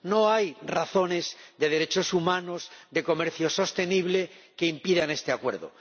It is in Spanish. No hay razones de derechos humanos, de comercio sostenible, que impidan este Acuerdo.